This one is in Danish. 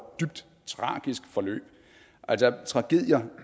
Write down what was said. dybt tragisk forløb altså tragedier